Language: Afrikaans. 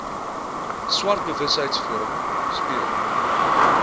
swart besigheidsforum speel